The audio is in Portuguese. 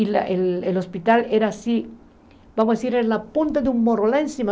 E lá o hospital era assim, vamos dizer, era a ponta de um morro lá em cima.